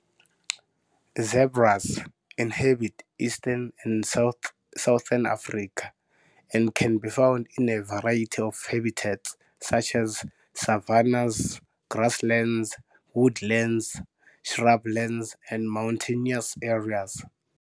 Zebras inhabit eastern and southern Africa and can be found in a variety of habitats such as savannahs, grasslands, woodlands, shrublands, and mountainous areas.